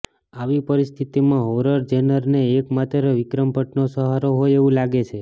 આવી પરિસ્થિતિમાં હોરર જેનરને એકમાત્ર વિક્રમ ભટ્ટનો સહારો હોય એવું લાગે છે